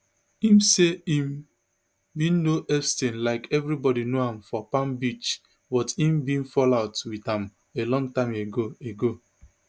im say im bin know epstein like everybody know am for palm beach but im bin fall out wit am a long time ago ago